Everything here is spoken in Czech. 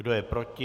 Kdo je proti?